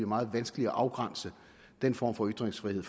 meget vanskeligt at afgrænse den form for ytringsfrihed